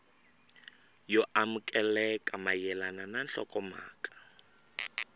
yo amukeleka mayelana na nhlokomhaka